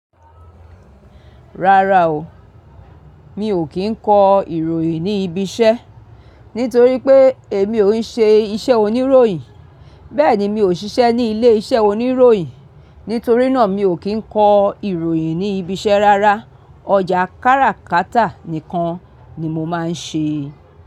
Rárá o, mi ò kí ń kọ ìròyìn ní ibi iṣẹ́. Nítorí pé èmi ò ń ṣe iṣẹ́ oníròyìn, bẹ́ẹ̀ ni mi ò ṣiṣẹ́ ní ilé iṣẹ́ oníròyìn. Nítorí náà, mi ò kí ń kọ ìròyìn ní ibi iṣẹ́ rárá. Ojá kára kátà nìkan ni mo máa ń ṣe.